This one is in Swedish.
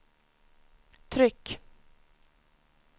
tryck